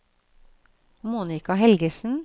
Monica Helgesen